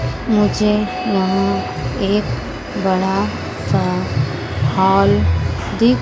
मुझे वहां एक बड़ासा हाल